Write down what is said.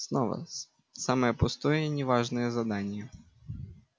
снова с самое пустое и не важное задание